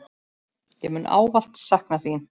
Ég mun ávallt sakna þín.